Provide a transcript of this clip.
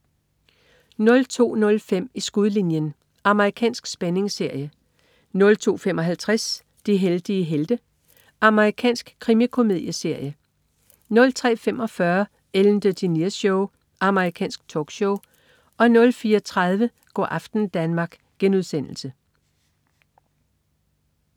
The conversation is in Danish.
02.05 I skudlinjen. Amerikansk spændingsserie 02.55 De heldige helte. Amerikansk krimikomedieserie 03.45 Ellen DeGeneres Show. Amerikansk talkshow 04.30 Go' aften Danmark*